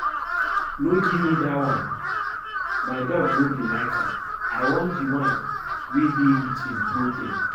No give me dat one my dog no dey like am. I want the wan wey dey rich in protein